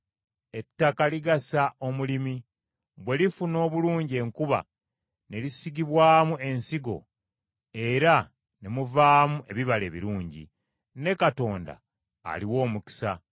Ettaka ligasa omulimi, bwe lifuna obulungi enkuba, ne lisigibwamu ensigo era ne muvaamu ebibala ebirungi. Ne Katonda aliwa omukisa.